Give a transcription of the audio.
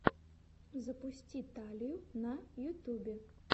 запусти талию на ютюбе